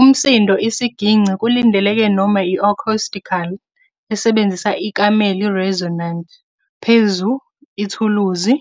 Umsindo isiginci kulindeleke noma acoustically, esebenzisa ikamelo resonant phezu ithuluzi,